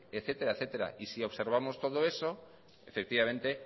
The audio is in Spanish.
etcétera y si observamos todo eso efectivamente